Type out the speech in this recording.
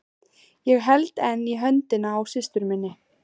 Ég held enn í höndina á systur minni.